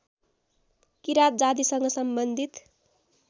किराँत जातिसँग सम्बन्धित